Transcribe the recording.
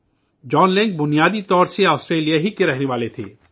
جان Lang کا تعلق اصل میں آسٹریلیا سے تھا